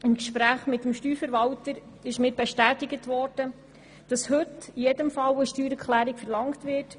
Im Gespräch mit dem Steuerverwalter wurde mir bestätigt, dass heute in jedem Fall eine Steuererklärung verlangt wird.